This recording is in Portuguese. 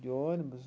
De ônibus.